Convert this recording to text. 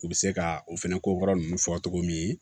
U bɛ se ka o fɛnɛ kokɔrɔ ninnu fɔ cogo min